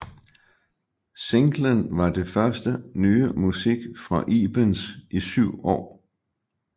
Singlen var det første nye musik fra Ibens i syv år